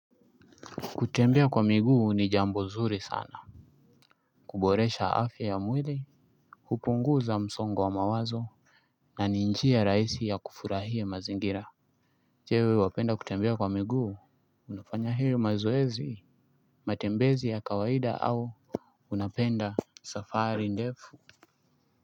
Kutembea kwa miguu ni jambo nzuri sana. Kuboresha afya ya mwili hupunguza msongo wa mawazo na ni njia rahisi ya kufurahia mazingira. Je wewe wapenda kutembea kwa miguu. Unafanya hiyo mazoezi. Matembezi ya kawaida au unapenda safari ndefu.